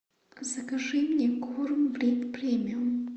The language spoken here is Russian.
закажи мне корм премиум